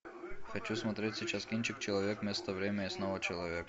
хочу смотреть сейчас кинчик человек место время и снова человек